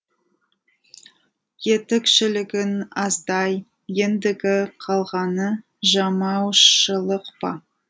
етікшілігің аздай ендігі қалғаны жамаушылық па